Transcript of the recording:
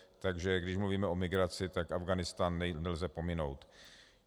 Takže když mluvíme o migraci, tak Afghánistán nelze pominout.